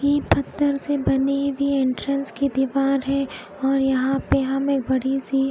ये पत्थर से बनी हुई एनत्रल्स की दुकान है यहा पर हमे बड़ी सी--